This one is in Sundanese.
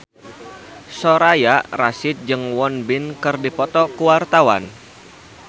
Soraya Rasyid jeung Won Bin keur dipoto ku wartawan